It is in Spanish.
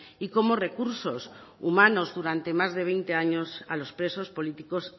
y como recursos humanos durante más de veinte años a los presos políticos